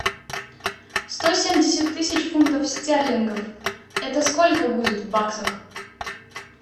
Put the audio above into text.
сто семьдесят тысяч фунтов стерлингов это сколько будет в баксах